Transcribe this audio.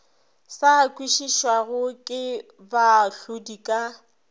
sa kwešišwego ke baahlodi ka